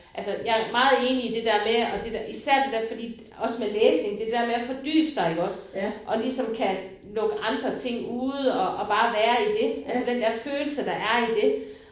Altså jeg meget enig i det der med og det der især det der fordi også med læsning det der med at fordybe sig iggås og ligesom kan lukke andre ting ude og og bare kan være i det altså den der følelse der er i det